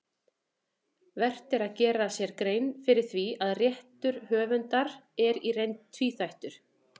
Vert er að gera sér grein fyrir því að réttur höfundar er í reynd tvíþættur.